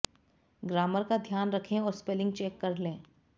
grammar का ध्यान रखें और स्पेलिंग चेक कर लें